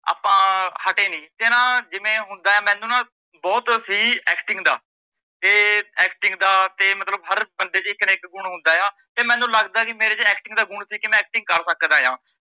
ਆਪਾਂ ਹੱਟੇ ਨੀ ਤੇ ਨਾਂ ਜਿਵੇਂ ਹੁੰਦਾ ਆ ਮੈਂਨੂੰ ਨਾਂ ਬਹੁਤ ਸੀ acting ਦਾ ਤੇ acting ਦਾ ਹਰੇਕ ਬੰਦੇ ਚ ਇੱਕ ਨਾਂ ਇੱਕ ਗੁਣ ਹੁੰਦਾ ਆ ਤੇ ਮੈਂਨੂੰ ਲੱਗਦਾ ਕਿ ਮੇਰੇ ਚ acting ਦਾ ਗੁਣ ਸੀ ਕਿ ਮੈ acting ਕਰ ਸਕਦਾ ਆ